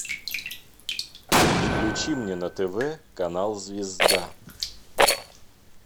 включи мне на тв канал звезда